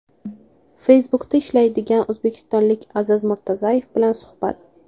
Facebook’da ishlaydigan o‘zbekistonlik Aziz Murtazoyev bilan suhbat .